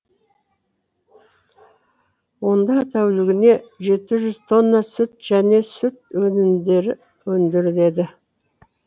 онда тәулігіне жеті жүз тонна сүт және сүт өнімдері өндіріледі